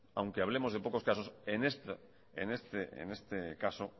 aunque hablemos de pocos casos en este caso